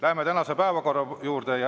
Läheme tänase päevakorra juurde.